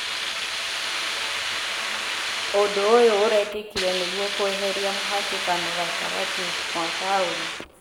ũndũ ũyũ ũrekĩkire nĩguo kweheria mũhatĩkano gatagatĩ wa taũni